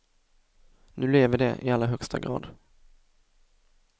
Nu lever i de i allra högsta grad.